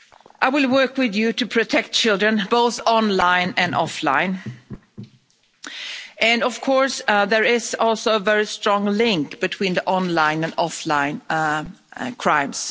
I will work with you to protect children, both online and offline, and of course, there is also a very strong link between online and offline crimes.